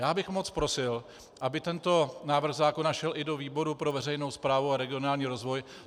Já bych moc prosil, aby tento návrh zákona šel i do výboru pro veřejnou správu a regionální rozvoj.